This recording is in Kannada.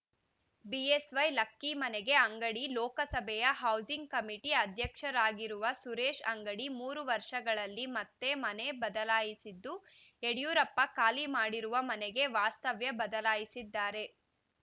ಬಿಎಸ್‌ವೈ ಲಕ್ಕಿ ಮನೆಗೆ ಅಂಗಡಿ ಲೋಕಸಭೆಯ ಹೌಸಿಂಗ್‌ ಕಮಿಟಿ ಅಧ್ಯಕ್ಷರಾಗಿರುವ ಸುರೇಶ್‌ ಅಂಗಡಿ ಮೂರು ವರ್ಷಗಳಲ್ಲಿ ಮತ್ತೆ ಮನೆ ಬದಲಾಯಿಸಿದ್ದು ಯಡಿಯೂರಪ್ಪ ಖಾಲಿ ಮಾಡಿರುವ ಮನೆಗೆ ವಾಸ್ತವ್ಯ ಬದಲಾಯಿಸಿದ್ದಾರೆ